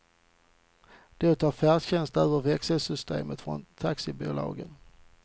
Då tar färdtjänsten över växelsystemet från taxibolagen.